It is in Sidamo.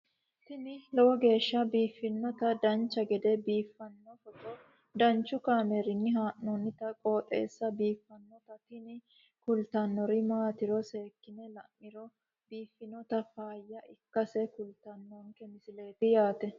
tini lowo geeshsha biiffannoti dancha gede biiffanno footo danchu kaameerinni haa'noonniti qooxeessa biiffannoti tini kultannori maatiro seekkine la'niro biiffannota faayya ikkase kultannoke misileeti yaate